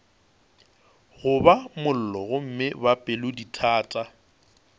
goba mollo gomme ba pelodithata